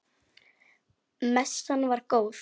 Messan var góð.